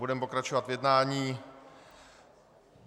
Budeme pokračovat v jednání.